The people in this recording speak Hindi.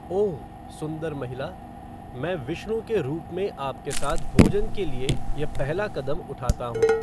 ओह! सुंदर महिला, मैं विष्णु के रूप में आपके साथ भोजन के लिए यह पहला कदम उठाता हूँ।